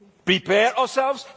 prepare ourselves.